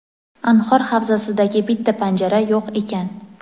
anhor havzasidagi bitta panjara yo‘q ekan.